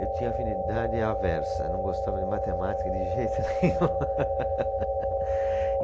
Eu tinha afinidade aversa, não gostava de matemática de jeito nenhum.